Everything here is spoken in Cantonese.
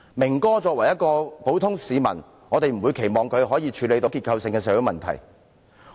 "明哥"作為一名普通市民，我們不會期望他能處理結構性的社會問題，